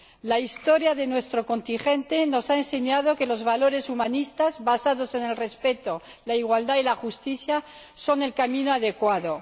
La historia de nuestro continente nos ha enseñado que los valores humanistas, basados en el respeto, la igualdad y la justicia, son el camino adecuado.